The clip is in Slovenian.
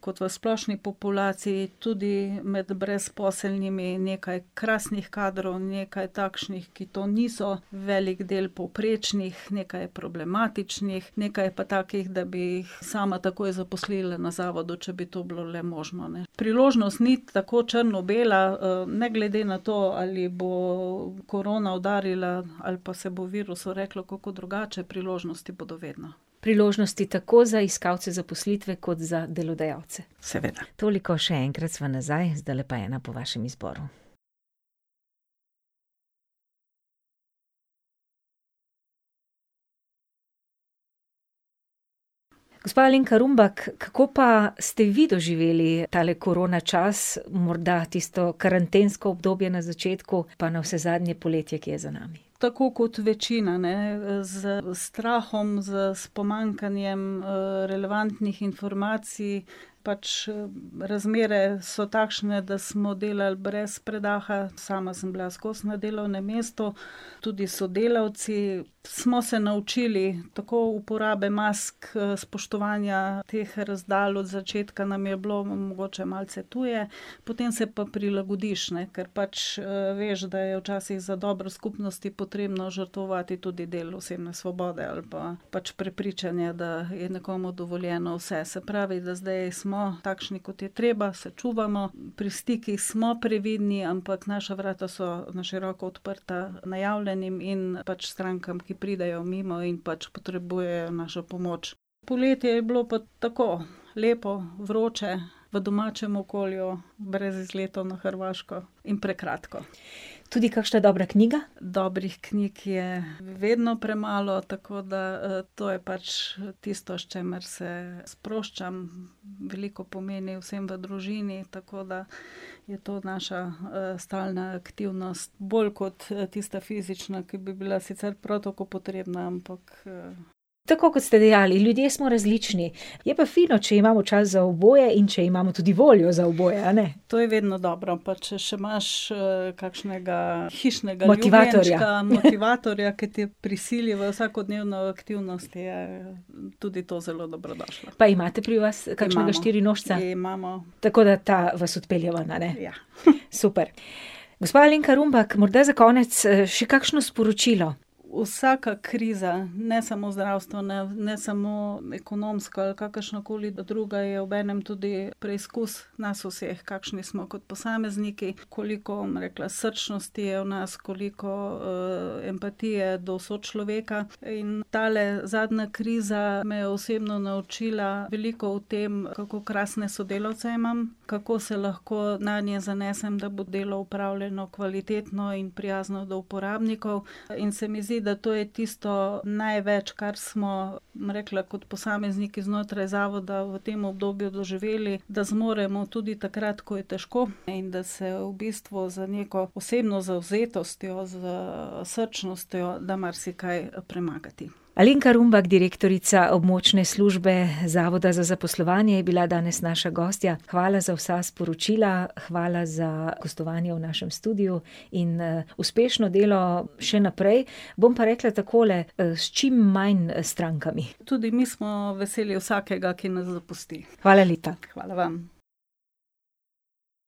kot v splošni populaciji, tudi med brezposelnimi nekaj krasnih kadrov, nekaj takšnih, ki to niso, velik del povprečnih, nekaj je problematičnih, nekaj je pa takih, da bi jih sama takoj zaposlila na zavodu, če bi to bilo le možno, ne. Priložnost ni tako črno-bela, ne glede na to, ali bo korona udarila, ali pa se bo virusu reklo kako drugače, priložnosti bodo vedno. Priložnosti tako za iskalce zaposlitve kot za delodajalce. Seveda. Toliko, še enkrat sva nazaj, zdajle pa ena po vašem izboru. Gospa Alenka Rumbak, kako pa ste vi doživeli tale korona čas, morda tisto karantensko obdobje na začetku pa navsezadnje poletje, ki je za nami? Tako kot večina, ne. Z strahom, z, s pomanjkanjem, relevantnih informacij, pač, razmere so takšne, da smo delali brez predaha, sama sem bila skozi na delovnem mestu, tudi sodelavci. Smo se naučili tako uporabe mask, spoštovanja teh razdalj, od začetka nam je bilo mogoče malce tuje, potem se pa prilagodiš, ne, ker pač, veš, da je včasih za dobro skupnosti potrebno žrtvovati tudi del osebne svobode ali pa pač prepričanje, da je nekomu dovoljeno vse. Se pravi, da zdaj smo takšni, kot je treba, se čuvamo. Pri stikih smo previdni, ampak naša vrata so na široko odprta, najavljenim in pač strankam, ki pridejo mimo in pač potrebujejo našo pomoč. Poletje je bilo pa tako, lepo, vroče, v domačem okolju, brez izletov na Hrvaško in prekratko. Tudi kakšna dobra knjiga? Dobrih knjig je vedno premalo, tako da, to je pač tisto, s čimer se sproščam, veliko pomeni vsem v družini, tako da je to naša, stalna aktivnost. Bolj kot tista fizična, ki bi bila sicer prav tako potrebna, ampak, ... Tako, kot ste dejali, ljudje smo različni, je pa fino, če imamo čas za oboje in če imamo tudi voljo za oboje, a ne? To je vedno dobro, pa če še imaš, kakšnega hišnega ljubljenčka. Motivatorja. Motivatorja, ki te prisili v vsakodnevno aktivnost, je tudi to zelo dobrodošlo. Pa imate pri vas kakšnega štirinožca? Imamo, imamo. Tako da ta vas odpelje ven, a ne? Ja. Super. Gospa Alenka Rumbak, morda za konec še kakšno sporočilo? Vsaka kriza, ne samo zdravstvena, ne samo ekonomska ali kakršnakoli druga, je obenem tudi preizkus nas vseh, kakšni smo kot posamezniki, koliko, bom rekla, srčnosti je v nas, koliko, empatije do sočloveka. In tale zadnja kriza me je osebno naučila veliko o tem, kako krasne sodelavce imam, kako se lahko nanje zanesem, da bo delo opravljeno kvalitetno in prijazno do uporabnikov. In se mi zdi, da to je tisto največ, kar smo, bom rekla, kot posamezniki znotraj zavoda v tem obdobju doživeli, da zmoremo tudi takrat, ko je težko in da se v bistvu z neko osebno zavzetostjo, srčnostjo da marsikaj premagati. Alenka Rumbak, direktorica Območne službe Zavoda za zaposlovanje, je bila današnja gostja. Hvala za vsa sporočila, hvala za gostovanje v našem studiu in, uspešno delo še naprej. Bom pa rekla takole, s čim manj strankami. Tudi mi smo veseli vsakkaratenekarateneega, ki nas zapusti. Hvala lepa. Hvala vam.